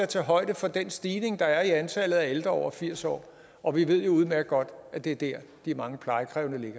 tage højde for den stigning der er i antallet af ældre over firs år år vi ved jo udmærket godt at det er der de mange plejekrævende